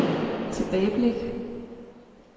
tilbageblik